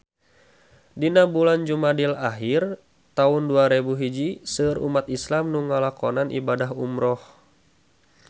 Dina bulan Jumadil ahir taun dua rebu hiji seueur umat islam nu ngalakonan ibadah umrah